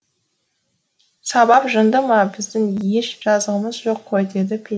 сабап жынды ма біздің еш жазығымыз жоқ қой деді петька